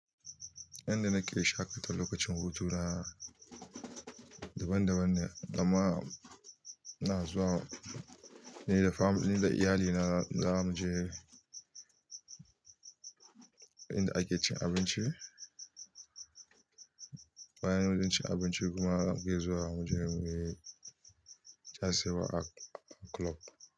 Inda nake shaƙata lokacin hutu na daban-daban ne, amma ina zuwa ni da iyali na za mu je inda ake cin abinci. Bayan mun ci abinci kuma mu ke zuwa mu je mu yi casewa a ƙlub.